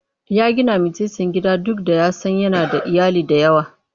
Ya gina mitsitsin gida duk da ya san yana da iyali da yawa.